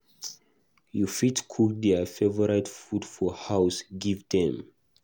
You fit cook their favourite food for house give them